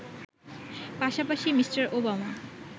পাশাপাশি Mr. Obama